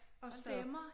Hold da op